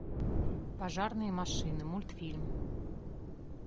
пожарные машины мультфильм